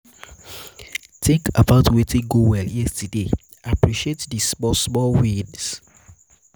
tink about wetin go well yestaday appreciate di small small wins